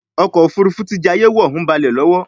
ọkọ̀ òfurufú tí jayé wọ ń balè lówó.